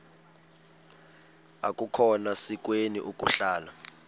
akukhona sikweni ukuhlala